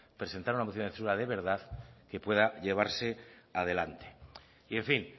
presentar una moción de censura de verdad que pueda llevarse adelante y en fin